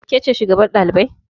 Ke ce shugaban ɗalibai?